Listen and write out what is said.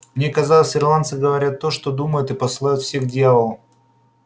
мне казалось ирландцы говорят то что думают и посылают всех к дьяволу